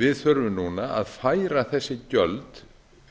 við þurfum núna að færa þessi gjöld